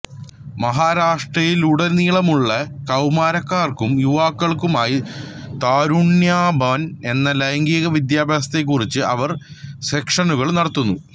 മഹാരാഷ്ട്രയിലുടനീളമുള്ള കൌമാരക്കാർക്കും യുവാക്കൾക്കുമായി തരുന്യാഭാൻ എന്ന ലൈംഗിക വിദ്യാഭ്യാസത്തെക്കുറിച്ച് അവർ സെഷനുകൾ നടത്തുന്നു